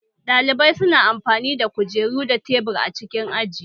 Ɗalibai su na amfani da kujeru da tebur a cikin aji